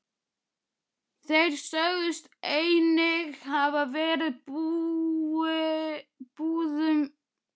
Þeir sögðust einnig hafa verið í búðum.